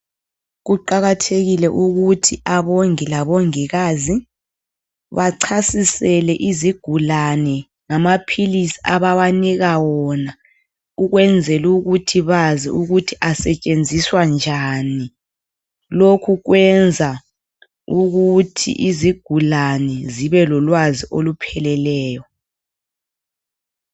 Kuqakathekile ukuthi abongii labongikazi, bachasisele izigulane ngamaphilisi abawanika wona, ukwenzelu ukuthi bazi ukuthi asetshenziswa njani. Lokhu kwenza ukuthi izigulane zibe lolwazi olupheleleyo